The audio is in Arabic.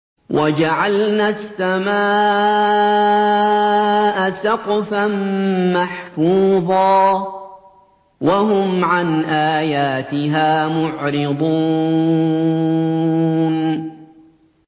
وَجَعَلْنَا السَّمَاءَ سَقْفًا مَّحْفُوظًا ۖ وَهُمْ عَنْ آيَاتِهَا مُعْرِضُونَ